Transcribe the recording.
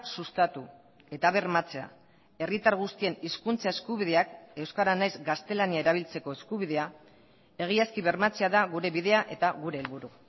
sustatu eta bermatzea herritar guztien hizkuntza eskubideak euskara nahiz gaztelania erabiltzeko eskubidea egiazki bermatzea da gure bidea eta gure helburu